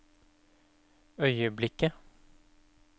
øyeblikket